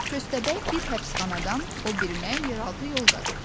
Köstəbək bir həbsxanadan o birinə yeraltı yol qazır.